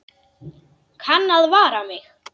Kann að vara mig.